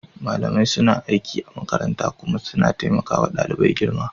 Malamai suna aiki a makaranta kuma suna taimaka wa ɗalibai girma.